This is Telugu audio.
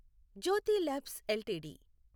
Jyothi labs LTD